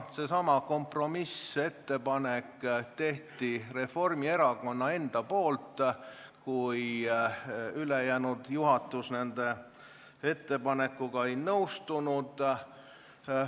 Selle kompromissettepaneku tegi Reformierakond ise, kui ülejäänud juhatus nende põhiettepanekuga ei nõustunud.